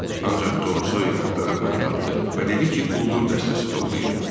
Ancaq Tom Soyer axtarıb məni tapdı və dedi ki, quldur dəstəsi toplayır.